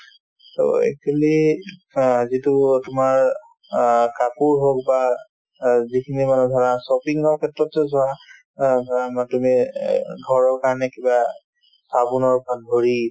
so, actually অ যিটো অ তোমাৰ অ কাপোৰ হওক বা অ যিখিনি মানে ধৰা shopping ৰ ক্ষেত্ৰতে যোৱা অ ধৰা বা তুমি অ ঘৰৰ কাৰণে কিবা চাবোনৰ পৰা ধৰি